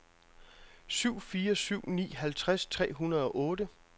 syv fire syv ni halvtreds tre hundrede og otte